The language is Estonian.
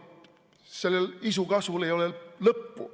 Sellel isu kasvul ei ole lõppu.